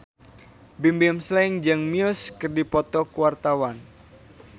Bimbim Slank jeung Muse keur dipoto ku wartawan